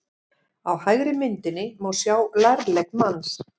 Á hægri myndinni má sjá lærlegg manns.